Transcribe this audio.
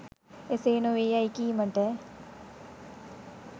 එසේ නොවේ යැයි කීමට